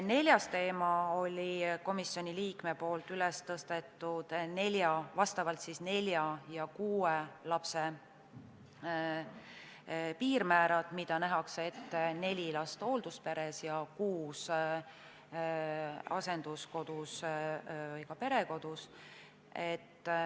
Neljas teema oli komisjoni liikme üles tõstetud piirmäärade teema, neli ja kuus last, et nähakse ette neli last hooldusperes ja kuus asenduskodus või perekodus.